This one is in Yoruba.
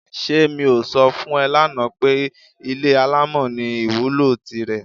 S̩e mi ò so̩ fún e̩ lánàá pé ilé alámò̩ ní ìwúlò tirè̩?